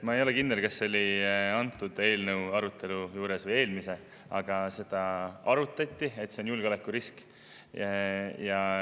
Ma ei ole kindel, kas see oli selle või eelmise eelnõu arutelus, aga seda arutati, et see on julgeolekurisk.